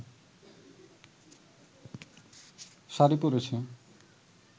শাড়ি পরেছে